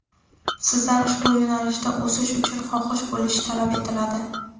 sizdan ushbu yo‘nalishda o‘sish uchun xohish bo‘lishi talab etiladi.